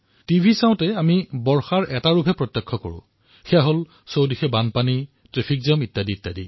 যেতিয়া টিভি চাও তেতিয়া বাৰিষাৰ এটাই দৃশ্য দেখিবলৈ পাও সেয়া হল চাৰিওফালে বান ভৰা পানী ট্ৰেফিক জাম